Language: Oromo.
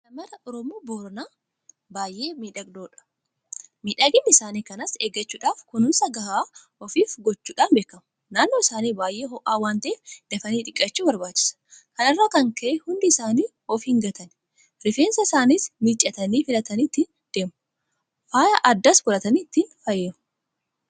Shaamarra Oromoo Booranaa baay'ee mimmiidhagoodha. Miidhagina isaanii kanas eeggachuudhaaf kunuunsa gahaa ofiif gochuudhaan beekamu. Naannoo isaanii baay'ee ho'aa waanta'eef dafanii dhiqachuu barbaachisa. Kana irraa kan ka'e hundi isaanii of hin gatani. Rifeensa isaaniis miiccatanii filatanii ittiin deemu. Faaya aadaas godhatanii ittiin faayamu.